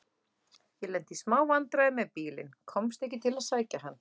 Ég lenti í smá vandræðum með bílinn. komst ekki til að sækja hann.